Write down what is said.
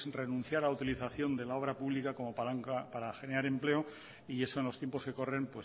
renunciar a la utilización de la obra pública como palanca para generar empleo y eso en los tiempos que corren